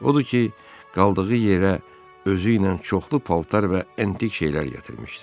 Odur ki, qaldığı yerə özü ilə çoxlu paltar və antik şeylər gətirmişdi.